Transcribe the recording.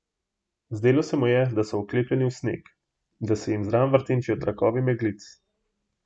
Zdelo se mu je, da so oklepljeni v sneg in da se jim z ram vrtinčijo trakovi meglic.